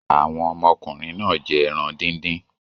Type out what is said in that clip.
Àwọn ọmọkùnrin náà jẹ́ ẹran dídín.